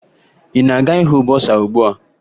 Ị na-aga ịhụ bọsaa ugbua?